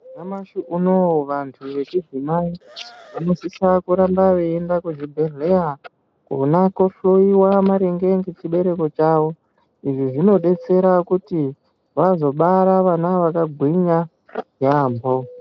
Nyamashi unouyu vantu vechidzimai vanosisa kuramba veienda kuzvibhedhleya kona kohloiwa maringe ngechibereko chavo. Izvi zvinobetsera kuti vazobara vana vakagwinya yaambo.